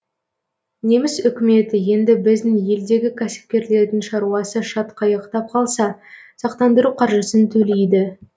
неміс үкіметі енді біздің елдегі кәсіпкерлердің шаруасы шатқаяқтап қалса сақтандыру қаржысын төлейді